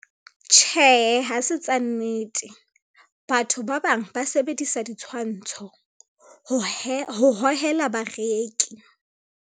Tjhehe hase tsa nnete, batho ba bang ba sebedisa ditshwantsho ho hohela bareki.